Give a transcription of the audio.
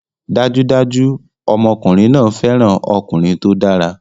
Dájúdájú! Ọmọkùnrin náà fẹ́ràn ọkùnrin tó dára